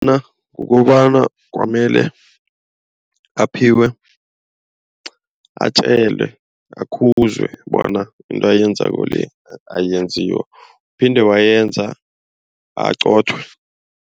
kukobana kwamele aphiwe, atjelwe, akhuzwe bona into ayenzako le eyenziwa. Waphinde wayenza aqothwe.